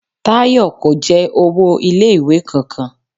Táyọ̀ kò jẹ owó ilé ìwé kan kan.